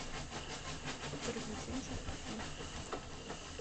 приключенческий фильм